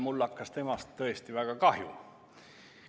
Mul hakkas temast tõesti väga kahju.